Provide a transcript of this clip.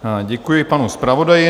Děkuji panu zpravodaji.